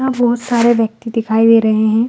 यहाँ बहोत सारे व्यक्ति दिखाई दे रहे है।